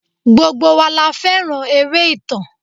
Gbogbo wa la fẹ́ràn eré ìtàn.